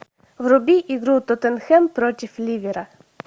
вруби игру тоттенхэм против ливера